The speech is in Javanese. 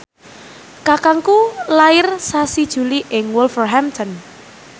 kakangku lair sasi Juli ing Wolverhampton